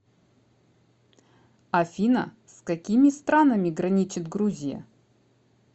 афина с какими странами граничит грузия